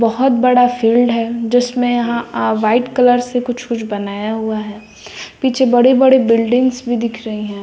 बहुत बड़ा फील्ड है जिसमें यहां अह व्हाइट कलर से कुछ कुछ बनाया हुआ है पीछे बड़े बड़े बिल्डिंग्स भी दिख रही हैं।